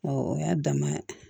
o y'a dama ye dɛ